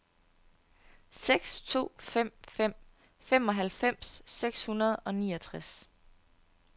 seks to fem fem femoghalvfems seks hundrede og niogtres